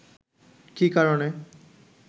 কী কারণে